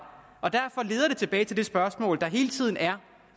derfor leder det tilbage til det spørgsmål der hele tiden er